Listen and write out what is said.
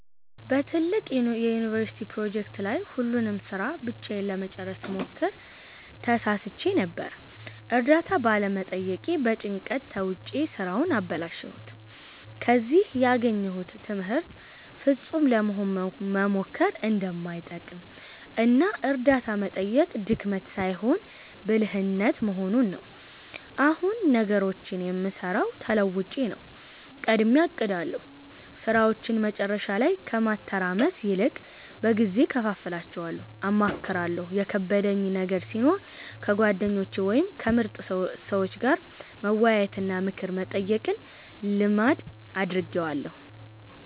በትልቅ የዩኒቨርሲቲ ፕሮጀክት ላይ ሁሉንም ሥራ ብቻዬን ለመጨረስ ስሞክር ተሳስቼ ነበር። እርዳታ ባለመጠየቄ በጭንቀት ተውጬ ሥራውን አበላሸሁት። ከዚህ ያገኘሁት ትምህርት ፍጹም ለመሆን መሞከር እንደማይጠቅም እና እርዳታ መጠየቅ ድክመት ሳይሆን ብልህነት መሆኑን ነው። አሁን ነገሮችን የምሠራው ተለውጬ ነው፦ ቀድሜ አቅዳለሁ፦ ሥራዎችን መጨረሻ ላይ ከማተራመስ ይልቅ በጊዜ እከፋፍላቸዋለሁ። አማክራለሁ፦ የከበደኝ ነገር ሲኖር ከጓደኞቼ ወይም ከምርጥ ሰዎች ጋር መወያየትና ምክር መጠየቅን ልማድ አድርጌዋለሁ።